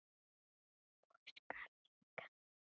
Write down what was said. og skal engan undra.